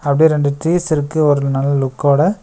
அப்டியே ரெண்டு ட்ரீஸ் இருக்கு ஒரு நல்ல லுக்கோட .